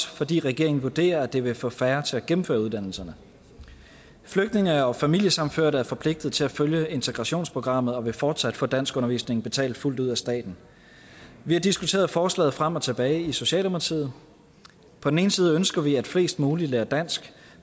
fordi regeringen vurderer at det vil få færre til at gennemføre uddannelserne flygtninge og familiesammenførte er forpligtet til at følge integrationsprogrammet og vil fortsat få danskundervisningen betalt fuldt ud af staten vi har diskuteret forslaget frem og tilbage i socialdemokratiet på den ene side ønsker vi at flest mulige lærer dansk